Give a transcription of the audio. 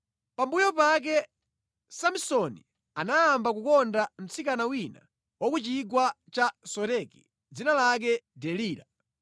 Pambuyo pake, Samsoni anayamba kukonda mtsikana wina wa ku chigwa cha Soreki dzina lake Delila.